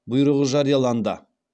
бұйрығы жарияланды